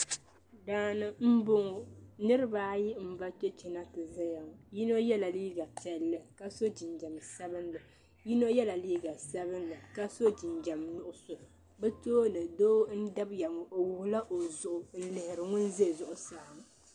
Daani m bɔŋɔ niriba ayi m ba chɛchɛ na ti zaya yini yɛla liiga piɛlli ka so jinjɛm sabinli yino yɛla liiga Sabinli ka so jinjɛm nuɣuso bɛ tooni doo n dabya ŋɔ o wuɣila o zuɣu n lihiri ŋɔ za zuɣusaa.